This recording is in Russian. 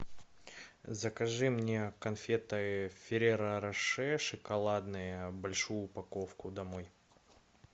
закажи мне конфеты ферреро роше шоколадные большую упаковку домой